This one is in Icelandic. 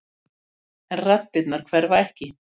En raddirnar hverfa ekki.